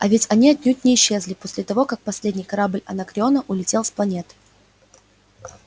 а ведь они отнюдь не исчезли после того как последний корабль анакреона улетел с планеты